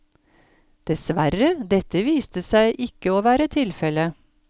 Dessverre, dette viste seg ikke å være tilfelle.